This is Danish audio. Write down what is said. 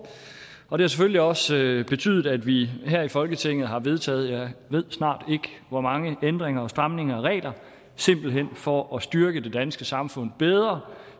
og det har selvfølgelig også betydet at vi her i folketinget har vedtaget jeg ved snart ikke hvor mange ændringer og stramninger af regler for at styrke det danske samfund